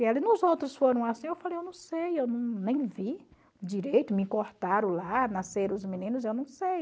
e nos outros foram assim, eu falei, eu não sei, eu nem vi direito, me cortaram lá, nasceram os meninos, eu não sei.